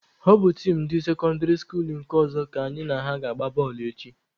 Ọ bụ tim ndị sekọndịrị skuluu nke ọzọ ka anyị na ha ga-agba bọọlụ echi.